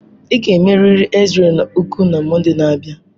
Ị ga-emerịrị X-ray ụkwụ na Mọnde na-abịa.